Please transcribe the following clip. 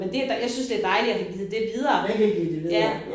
Men det jeg synes det dejligt at have givet det videre ja